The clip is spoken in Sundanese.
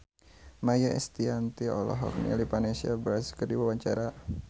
Maia Estianty olohok ningali Vanessa Branch keur diwawancara